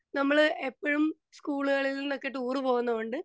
speaker 2 നമ്മള് എപ്പഴും സ്കൂളുകളിനിന്നും ടൂർ പോകുന്നത് കൊണ്ട്